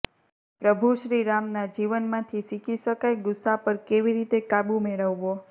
પ્રભૂ શ્રીરામના જીવનમાંથી શીખી શકાય ગુસ્સા પર કેવી રીતે કાબુ મેળવવો